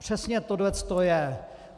Přesně tohle to je.